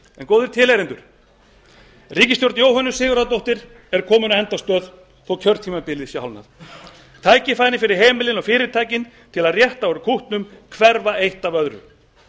góðir tilheyrendur ríkisstjórn jóhönnu sigurðardóttur er komin á endastöð þó að kjörtímabilið sé hálfnað tækifærin fyrir heimilin og fyrirtækin til að rétta úr kútnum hverfa eitt af öðru